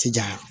Ti ja